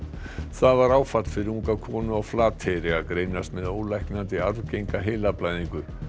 það var áfall fyrir unga konu á Flateyri að greinast með ólæknandi arfgenga heilablæðingu